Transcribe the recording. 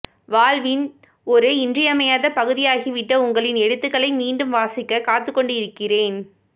வாழ்வின் ஒரு இன்றியமையாத பகுதியாகிவிட்ட உங்களின் எழுத்துக்களை மீண்டும் வாசிக்க காத்துக்கொண்டிருக்கிறேன்